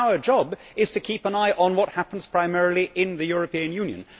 Our job is to keep an eye on what happens primarily in the European Union.